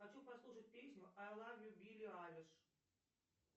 хочу послушать песню ай лав ю билли айлиш